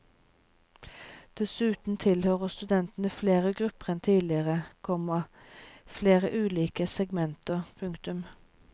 Dessuten tilhører studentene flere grupper enn tidligere, komma flere ulike segmenter. punktum